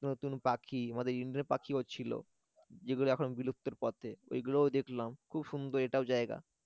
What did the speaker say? নতুন পাখি আমাদের পাখি ও ছিল যেগুলো এখন বিলুপ্তের পথে ওইগুলো দেখলাম খুব সুন্দর এটাও জায়গা